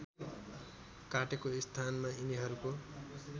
काटेको स्थानमा यिनीहरूको